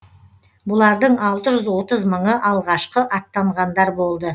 бұлардың алты жүз отыз мыңы алғашқы аттанғандар болды